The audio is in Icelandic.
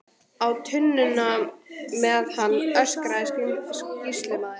Á tunnuna með hann, öskraði sýslumaður.